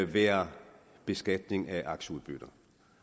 være beskatning af aktieudbytter